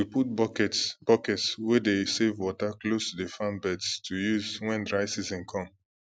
we put buckets buckets wey dey save water close to the farm beds to use when dry season come